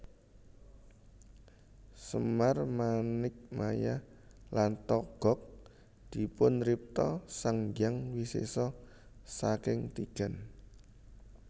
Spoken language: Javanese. Semar Manikmaya lan Togog dipunripta Sang Hyang Wisesa saking tigan